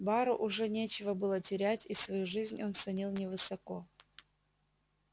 бару уже нечего было терять и свою жизнь он ценил невысоко